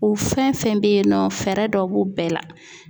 U fɛn fɛn bɛ yen nɔ fɛɛrɛ dɔ b'u bɛɛ la.